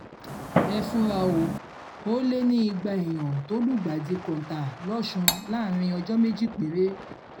ẹ fura o ò lè ní igba èèyàn tó lùgbàdì kọ́ńtà lọ́sùn láàárín ọjọ́ méjì péré